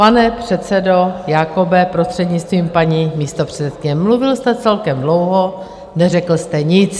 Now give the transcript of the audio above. Pane předsedo Jakobe, prostřednictvím paní místopředsedkyně, mluvil jste celkem dlouho, neřekl jste nic.